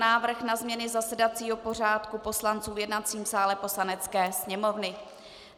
Návrh na změny zasedacího pořádku poslanců v jednacím sále Poslanecké sněmovny